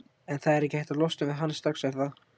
En það er ekki hægt að losna við hann strax er það?